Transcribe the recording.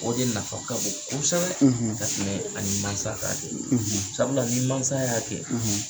O de nafa ka bon kosɛbɛ, ka tɛmɛ ani masa k'a kɛ, sabula, ni masa y'a kɛ,